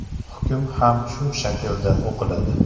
Hukm ham shu shaklda o‘qiladi.